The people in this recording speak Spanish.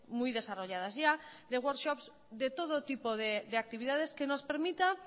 muy desarrolladas ya de de workshops de todo tipo de actividades que nos permita